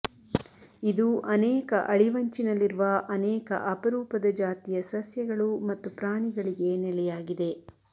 ಇದು ಅನೇಕ ಅಳಿವಂಚಿನಲ್ಲಿರುವ ಅನೇಕ ಅಪರೂಪದ ಜಾತಿಯ ಸಸ್ಯಗಳು ಮತ್ತು ಪ್ರಾಣಿಗಳಿಗೆ ನೆಲೆಯಾಗಿದೆ